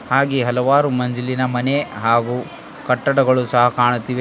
ಹಾಗೆ ಹಲವಾರು ಮಂಜಿಲಿನ ಮನೆ ಹಾಗು ಕಟ್ಟಡಗಳು ಸಹ ಕಾಣುತ್ತಿವೆ.